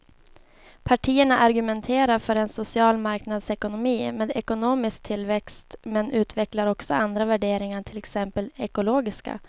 Partierna argumenterar för en social marknadsekonomi med ekonomisk tillväxt men utvecklar också andra värderingar, till exempel de ekologiska.